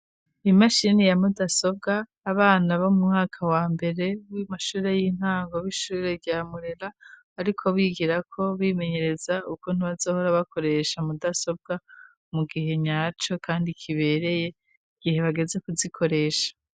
Imashini ya mudasobwa abana bo mu mwaka wa mbere w'imashure y'intango b'ishure rya Mwengaariko bigira ko bimenyereza uko ntibazohora bakoresha mudasobwa mu gihe nyaco kandi kibereye igihe bageze kuzikoresha.